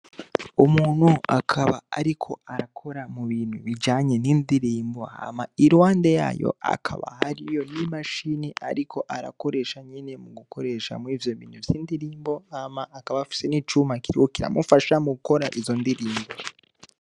Umuntu akaba ariko arakora mu bintu bijanye n'indirimbo, hama iruhande yaho hakaba hariyo imashini ariko arakoresha nyene mugukoresha muri ivyo bintu vy'indirimbo, hama akaba afise n'icuma kiriho kiramufasha mu gukora izo ndirimbo.